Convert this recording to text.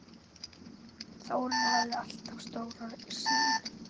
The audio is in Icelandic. Þórir hafði alltaf stóra sýn.